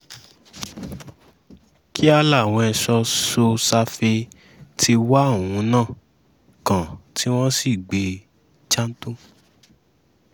kíá làwọn ẹ̀ṣọ́ so-safe ti wá òun náà kàn tí wọ́n sì gbé e janto